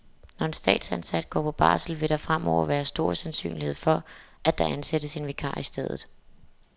Når en statsansat går på barsel, vil der fremover være stor sandsynlighed for, at der ansættes en vikar i stedet.